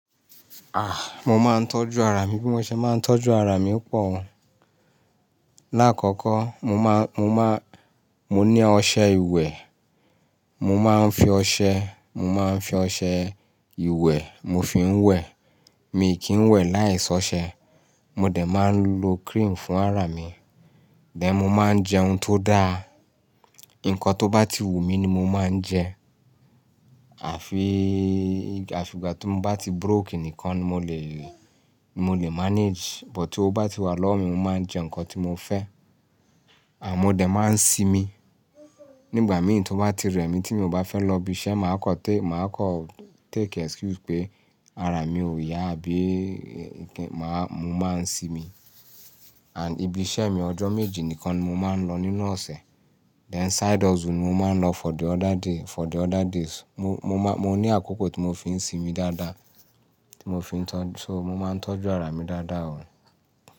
Ah! Mo máa ń tọ́jú ara mi bí mo ṣe máa ń tọ́jú ara mi pọ̀ o. Láàkọ́kọ́, mo máa, mo máa, mo ní ọṣẹ ìwẹ̀, mo máa ń fi ọṣẹ, mo máa ń fi ọṣẹ ìwẹ̀ mo fi ń wẹ̀, mi kì í wẹ̀ láìsí ọṣẹ. Mo dẹ̀ máa ń lo cream fún ara mi. Then mo máa ń jẹun tó dáa. Nǹkan tó bá ti wù mí ni mo máa ń jẹ. Àfi, àfi ìgbà tí mo bá ti broke nìkan ni mo lè lè, mo lè manage. But tí ó bá ti wà lọ́wọ́ mi, mo máa ń jẹ nǹkan tí mo fẹ́. À mo dẹ̀ máa ń sinmi. Nígbà mìí tí ó bá ti rẹ̀ mí tí mi ò bá fẹ́ lọ ibi iṣẹ́, màá kọ té-- màá kọ take excuse pé ara mi ò yá bí i kí n máa, mo máa ń ṣi mi. And ibi iṣẹ́ mi ọjọ́ méjì nìkan ni mo máa ń lọ nínú ọ̀sẹ̀. Then side hustle ni mo máa ń lọ for the other day, for the other days. Mo, mo máa, mo ní àkókò tí mo fi ń ṣin mi dáadáa, tí mo fi ń tọ́jú, so mo máa ń tọ́jú ara mi dáadáa o.